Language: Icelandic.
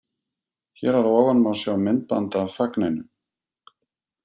Hér að ofan má sjá myndband af fagninu.